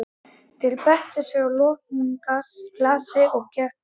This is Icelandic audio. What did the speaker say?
Þeir beittu að lokum gasi gegn okkur.